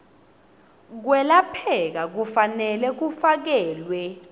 kwelapheka kufanele kufakelwe